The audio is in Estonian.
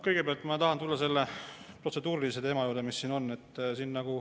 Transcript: Kõigepealt ma tahan tulla selle protseduurilise teema juurde, mis meil siin on.